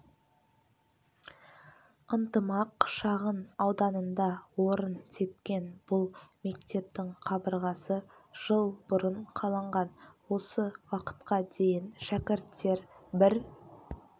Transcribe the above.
ынтымақ шағын ауданында орын тепкен бұл мектептің қабырғасы жыл бұрын қаланған осы уақытқа дейін шәкірттер бір